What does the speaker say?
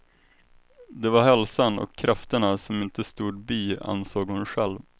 Det var hälsan och krafterna som inte stod bi, ansåg hon själv.